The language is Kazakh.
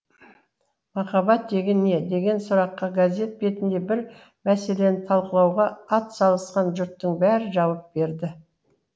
махаббат деген не деген сұраққа газет бетінде бір мәселені талқылауға атсалысқан жұрттың бәрі жауап берді